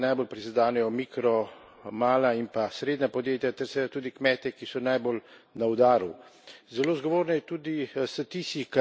Nedvomno takšne prakse najbolj prizadenejo mikro mala in pa srednja podjetja ter seveda tudi kmete, ki so najbolj na udaru.